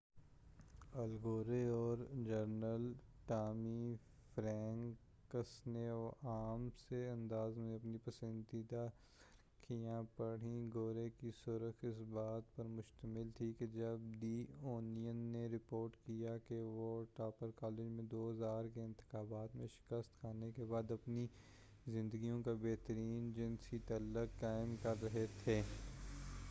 ال گورے اور general Tommy Franks نے عام سے انداز میں اپنی پسندیدہ سرخیاں پڑھیں گورے کی سرخی اس بات پر مشتمل تھی کہ جب دی اونین نے رپورٹ کیا کہ وہ اور ٹپر کالج میں 2000 کے انتخابات میں شکست کھانے کے بعد اپنی زندگیوں کا بہترین جنسی تعلق قائم کر رہے تھے۔